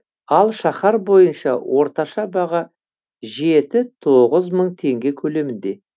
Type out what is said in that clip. ал шаһар бойынша орташа баға жеті тоғыз мың теңге көлемінде